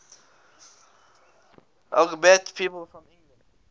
lgbt people from england